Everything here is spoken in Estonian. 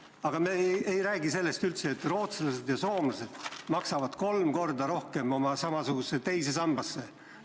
Aga me ei räägi üldse sellest, et rootslased ja soomlased maksavad kolm korda rohkem oma samasugusesse teise sambasse.